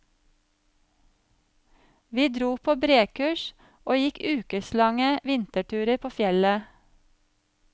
Vi dro på brekurs og gikk ukeslange vinterturer på fjellet.